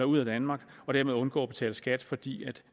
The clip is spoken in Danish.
ud af danmark og dermed undgå at betale skat fordi